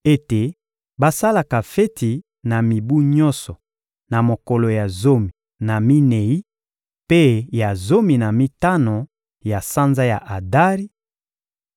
ete basalaka feti na mibu nyonso, na mokolo ya zomi na minei mpe ya zomi na mitano ya sanza ya Adari,